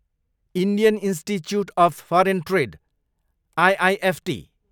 Indian Institute of Foreign Trade, IIFT